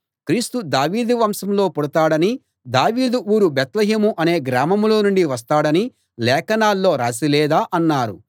క్రీస్తు దావీదు వంశంలో పుడతాడనీ దావీదు ఊరు బేత్లెహేము అనే గ్రామంలో నుండి వస్తాడనీ లేఖనాల్లో రాసి లేదా అన్నారు